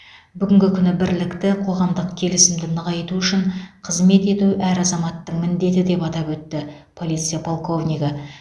бүгінгі күні бірлікті қоғамдық келісімді нығайту үшін қызмет ету әр азаматтың міндеті деп атап өтті полиция полковнигі